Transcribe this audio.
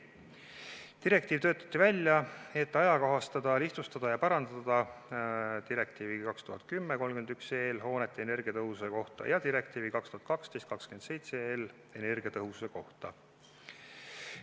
Direktiiv töötati välja, et ajakohastada, lihtsustada ja parandada direktiivi 2010/31 hoonete energiatõhususe kohta ja direktiivi 2012/27 energiatõhususe kohta.